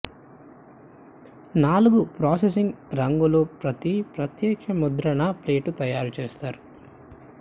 నాలుగు ప్రాసెసింగ్ రంగులు ప్రతి ప్రత్యేక ముద్రణ ప్లేట్ తయారు చేస్తారు